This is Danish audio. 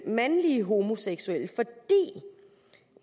mandlige homoseksuelle fordi